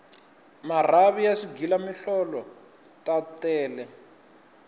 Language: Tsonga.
marhavi ya swighila mihlolo ta tele